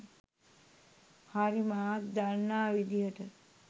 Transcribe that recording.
හරි මාත් දන්නා විදිහට.